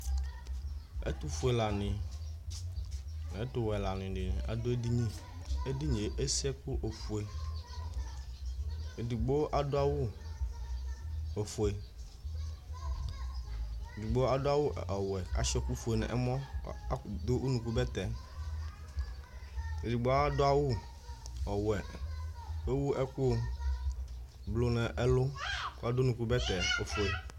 ɛtu fue lani nu ɛtu wɛ lani dini adu edini, edinie esi ɛku ofue, edigbo adu awu ofue, edigbo adu awu ɔwɛ ka sʋia ɛku fue nɔmɔ, adu unuku bɛtɛ, edigbo adu awu ɔwɛ ku ewu ɛku blu nu ɛlu ku adu unuku bɛtɛ ofue